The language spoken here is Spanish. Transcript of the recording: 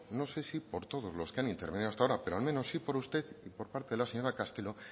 no sé si por todos los que han intervenido hasta ahora pero al menos por sí por usted y por parte de la señora castelo